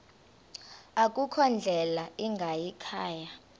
akukho ndlela ingayikhaya